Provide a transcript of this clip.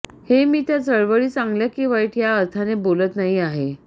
हे मी त्या चळवळी चांगल्या की वाईट ह्या अर्थाने बोलत नाही आहे